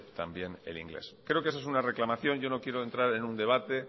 también el inglés creo que esa es una reclamación yo no quiero entrar en un debate